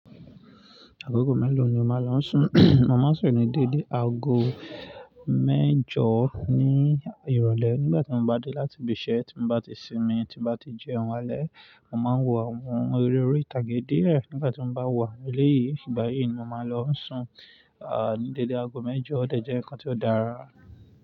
Agogo méló ni o máa lọ ń sùn? Mó máa ń sùn ní dédé aago Mejó ní ìrò lè, nígbà tí m bá dé láti ibi ìsé, tí m bá ti sí mi, tí m bá ti jeun àlé mo máa ń wọ àwọn eré orí ìtàgé díẹ̀ nígbà tí m bá wo àwọn eléyìí. Ìgbà yìí ni mo máa lọ ń sùn, à ní dédé aago mẹ́jọ, ó dẹ̀ jẹ́ nǹkan tí ó dára.